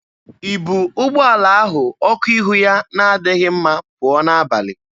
I bu ụgbọala ahụ ọkụ ihu ya na-adịghị mma pụọ n'abalị?